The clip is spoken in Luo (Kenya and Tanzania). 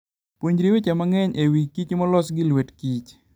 Puonjri weche mang'eny e wi kichmolos gi lwet kich.